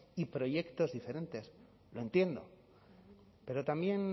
y proyectos diferentes lo entiendo pero también